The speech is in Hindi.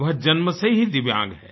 वह जन्म से ही दिव्यांग है